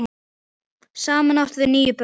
Saman áttu þau níu börn.